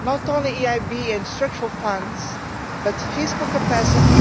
not only the EIB and structural funds, but fiscal capacity